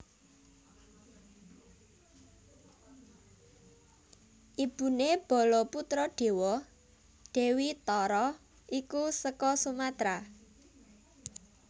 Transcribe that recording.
Ibuné Balaputradewa Dewi Tara iku seka Sumatra